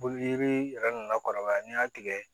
Yiri yɛrɛ nana kɔrɔbaya n'i y'a tigɛ